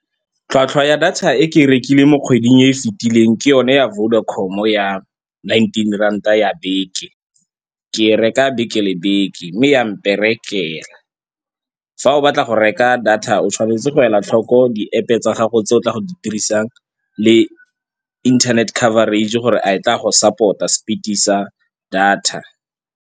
Tlhwatlhwa ya data e ke e rekileng mo kgweding e fitileng ke yone ya Vodacom-o ya nineteen ranta ya beke. Ke e reka beke le beke mme ya mperekela. Fa o batla go reka data o tshwanetse go ela tlhoko di-App-e tsa gago tse o tla go di dirisang le internet coverage gore a e tla go support-a speed-e sa data.